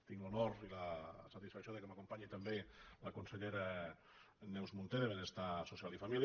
tinc l’honor i la satisfacció que m’acompanyi també la consellera neus munté de benestar social i família